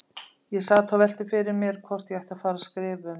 Ég sat og velti fyrir mér hvort ég ætti að fara að skrifa um